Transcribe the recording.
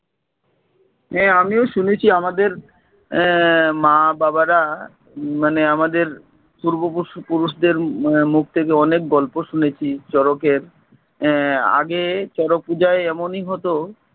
হ্যা, আমিও শুনেছি আমাদের আহ মা বাবারা মানে আমাদের পূর্ব পশু~পুরুষদের আহ মুখ থেকে অনেক গল্প শুনেছি শরতের আহ আগে শরৎ পূজায় এমনই হতো